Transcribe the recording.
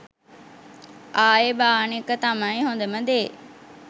ආයේ බාන එක තමයි හොඳම දේ.